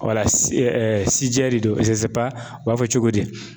de don u b'a fɔ cogo di ?